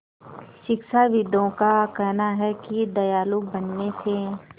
शिक्षाविदों का कहना है कि दयालु बनने से